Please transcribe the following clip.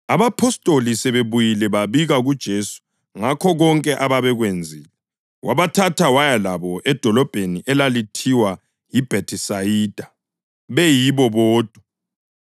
Abapostoli sebebuyile babika kuJesu ngakho konke ababekwenzile. Wasebathatha waya labo edolobheni elalithiwa yiBhethisayida beyibo bodwa,